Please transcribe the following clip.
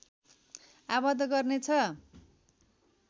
आबद्ध गर्नेछ